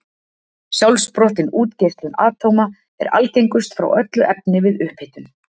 Sjálfsprottin útgeislun atóma er algengust frá öllu efni við upphitun.